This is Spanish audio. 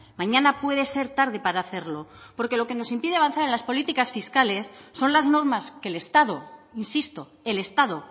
mañana puede ser tarde para hacerlo porque lo que nos impide avanzar en las políticas fiscales son las normas que el estado insisto el estado